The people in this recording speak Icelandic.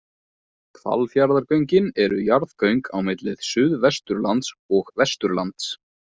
Hvalfjarðargöngin eru jarðgöng á milli Suðvesturlands og Vesturlands.